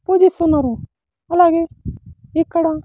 పూజిస్తున్నారు అలాగే ఇక్కడ.